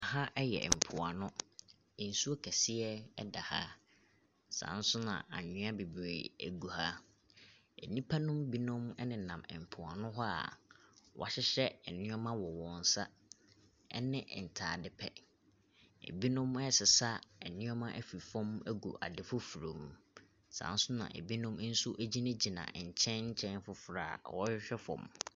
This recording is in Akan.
Aha yɛ mpoano, nsuo kɛseɛ da ha. Saa ara nso na anwea bebree gu ha. Nnipa nom binom nenam mpoano hɔ a wɔahyehyɛ nneɛma wɔ wɔn nsa ne ntadeɛ pɛ. Binom resesa nneɛma afirifa agu ade foforɔ mu. Saa ara nso na binom nso gyinagyina nkyɛn nkyɛn foforɔ a wɔrehwɛ fam.